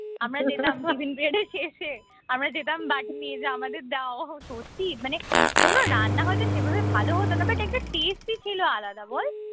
আমরা যেতাম tiffin period এর শেষে আমরা যেতাম বাটি নিয়ে যে আমাদের দাও সত্যি মানে কোন রান্না হয়ত সেভাবে ভালো হত না but একটা tasty ছিল আলাদা বল